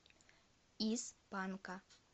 из панка